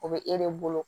O bɛ e de bolo